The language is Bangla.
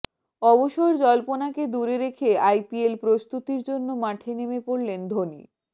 অবসর জল্পনাকে দূরে রেখে আইপিএল প্রস্তুতির জন্য মাঠে নেমে পড়লেন ধোনি